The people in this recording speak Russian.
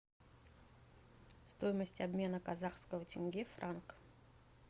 стоимость обмена казахского тенге в франк